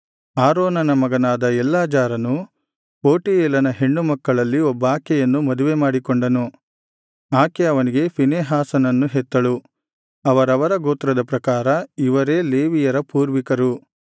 ಆರೋನನ ಮಗನಾದ ಎಲ್ಲಾಜಾರನು ಪೂಟಿಯೇಲನ ಹೆಣ್ಣು ಮಕ್ಕಳಲ್ಲಿ ಒಬ್ಬಾಕೆಯನ್ನು ಮದುವೆ ಮಾಡಿಕೊಂಡನು ಆಕೆ ಅವನಿಗೆ ಫೀನೆಹಾಸನನ್ನು ಹೆತ್ತಳು ಅವರವರ ಗೋತ್ರದ ಪ್ರಕಾರ ಇವರೇ ಲೇವಿಯರ ಪೂರ್ವಿಕರು